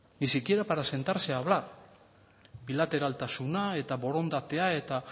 ni siquiera para sentarse a hablar bilateraltasuna eta borondatea eta